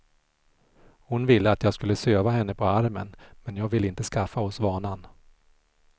Hon ville att jag skulle söva henne på armen, men jag ville inte skaffa oss vanan.